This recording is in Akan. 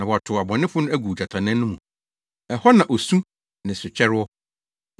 na wɔatow abɔnefo no agu ogyatannaa no mu; ɛhɔ na osu ne setwɛre wɔ.